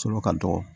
Sɔrɔ ka dɔgɔ